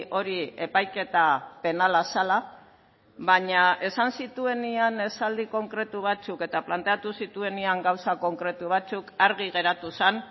hori epaiketa penala zela baina esan zituenean esaldi konkretu batzuk eta planteatu zituenean gauza konkretu batzuk argi geratu zen